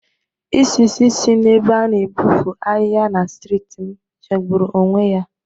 Isi si n'ebe a na-epofu ahịha na strịt m jọgbụru onwe ya.